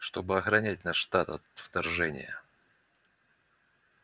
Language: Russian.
чтобы охранять наш штат от вторжения